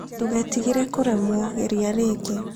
Ndũgetigĩre kũremwo, geria rĩngĩ.